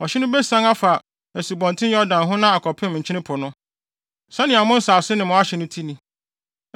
Ɔhye no besian afa Asubɔnten Yordan ho na akɔpem Nkyene Po no. “ ‘Sɛnea mo nsase ne mo ahye te ni.’ ”